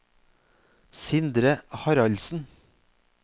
Sindre Haraldsen